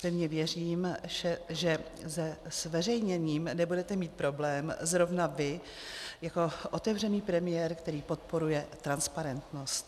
Pevně věřím, že se zveřejněním nebudete mít problém zrovna vy jako otevřený premiér, který podporuje transparentnost.